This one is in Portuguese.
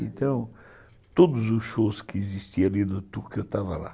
Então, todos os shows que existiam ali no Tuca, eu estava lá.